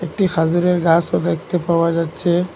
একটি খাজিরের গাছও দেখতে পাওয়া যাচ্ছে।